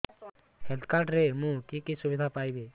health card ରେ ମୁଁ କି କି ସୁବିଧା ପାଇବି